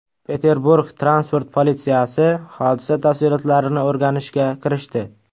Peterburg transport politsiyasi hodisa tafsilotlarini o‘rganishga kirishdi.